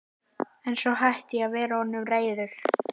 En svo hætti ég að vera honum reiður.